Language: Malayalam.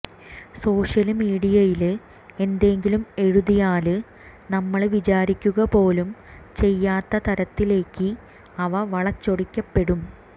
സോഷ്യല് മീഡിയയില് എന്തെങ്കിലും എഴുതിയാല് നമ്മള് വിചാരിക്കുക പോലും ചെയ്യാത്ത തരത്തിലേയ്ക്ക് അവ വളച്ചൊടിക്കപ്പെടും